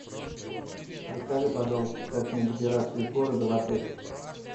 расскажи пожалуйста как мне добираться из города в отель